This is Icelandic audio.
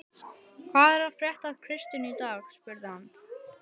Hvað er að frétta af Kristínu í dag? spurði hann.